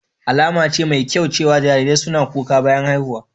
Alama ce mai kyau cewa jarirai suna kuka bayan haihuwa.